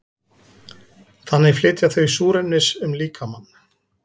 þannig flytja þau súrefnis um líkamann